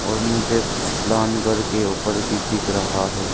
और मुझे कुछ प्लान घर के ऊपर भी दिख रहा है।